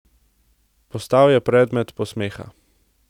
Postal je predmet posmeha.